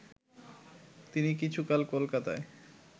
তিনি কিছুকাল কলকাতায়